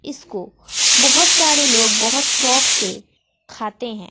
इसको बहोत सारे लोग बहोत शौक से खाते है।